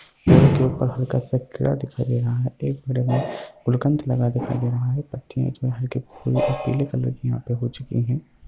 पेड़ के ऊपर हल्का-सा कीड़ा दिखाई दे रहा है एक पेड़ में गुलकंद लगा दिखाई दे रहा है पत्तियां जो हैं हल्‍के पीले कलर की यहां पे हो चुकी हैं।